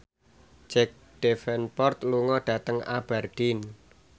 Jack Davenport lunga dhateng Aberdeen